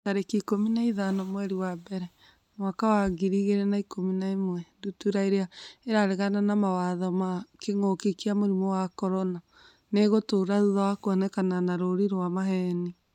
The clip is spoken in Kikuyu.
tarĩki ikũmi na ithano mweri wa mbere mwaka wa ngiri igĩrĩ na ikũmi na ĩmwe Ndutura irĩa 'ĩraregana na mawatho ma kĩngũki kia mũrimũ wa CORONA nĩ ĩgũtũra thutha wa kuonekana na rũũri rwa maheeni.